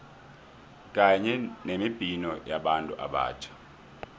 kanye nemibhino yabantu abatjha